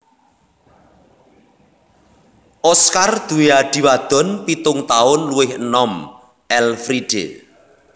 Oskar duwé adhi wadon pitung taun luwih enom Elfriede